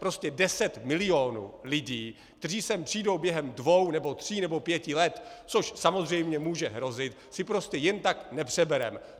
Prostě deset milionů lidí, kteří sem přijdou během dvou nebo tří nebo pěti let, což samozřejmě může hrozit, si prostě jen tak nepřebereme.